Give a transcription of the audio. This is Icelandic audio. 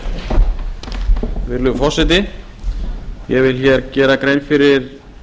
virðulegi forseti ég vil hér gera grein fyrir